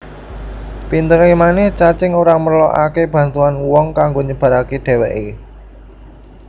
Pinteré manèh cacing ora merlokaké bantuan wong kanggo nyebaraké dhèwèké